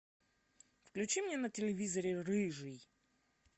включи мне на телевизоре рыжий